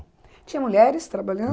Tinha mulheres